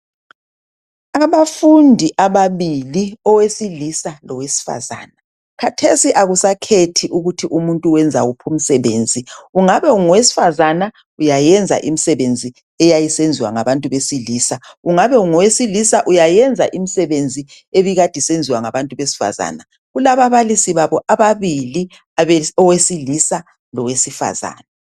Abafundi ababili owesilisa lowesifazana. Kathesi akusakhethi ukuthi lumsebenzi ungenziwa yisilisa kumbe yisifazana. Kulababalisi babo ababili owesilisa lowesifazana.